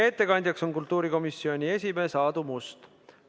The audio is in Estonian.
Ettekandja on kultuurikomisjoni esimees Aadu Must.